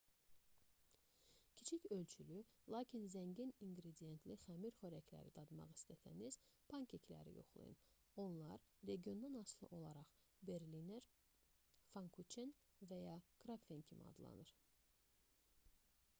kiçik ölçülü lakin zəngin inqridiyentli xəmir xörəkləri dadmaq istəsəniz pankekləri yoxlayın onlar regiondan asılı olaraq berliner pfannkuchen və ya krapfen kimi adlanır